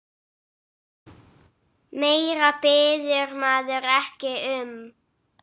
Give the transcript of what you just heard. Meira biður maður ekki um.